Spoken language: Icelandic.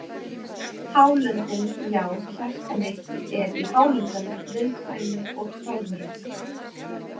Hálöndin Já, hjarta mitt er í Hálöndunum viðkvæmu og fögru.